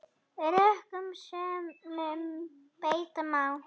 Rökum sönnum beita má.